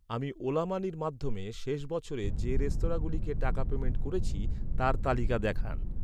আমি ওলা মানির মাধ্যমে শেষ বছরে যে রেস্তোরাঁগুলিকে টাকা পেইমেন্ট করেছি তার তালিকা দেখান।